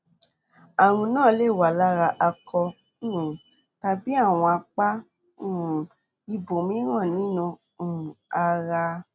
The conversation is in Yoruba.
ààrùn náà lè wà lára akọ um tàbí àwọn apá um ibòmíràn nínú um ara